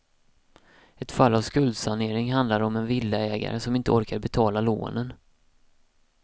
Ett fall av skuldsanering handlar om en villaägare som inte orkade betala lånen.